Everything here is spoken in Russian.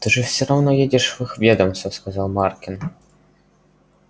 ты же все равно едешь в их ведомство сказал маркин